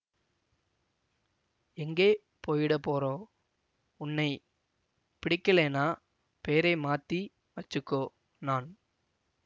எங்கே போயிடப் போறோம் உன்னை பிடிக்கலன்னா பேரை மாத்தி வெச்சிக்கோ நான்